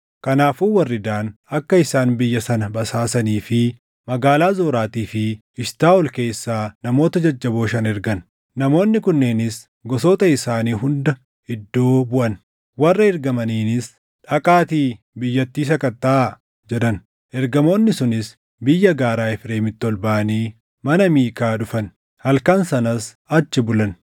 Kanaafuu warri Daan akka isaan biyya sana basaasanii fi magaalaa Zoraatii fi Eshitaaʼol keessaa namoota jajjaboo shan ergan. Namoonni kunneenis gosoota isaanii hunda iddoo buʼan. Warra erganiinis, “Dhaqaatii biyyattii sakattaʼaa” jedhan. Ergamoonni sunis biyya gaaraa Efreemiitti ol baʼanii mana Miikaa dhufan; halkan sanas achi bulan.